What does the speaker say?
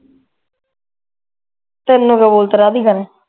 ਦੀ ਗੱਲ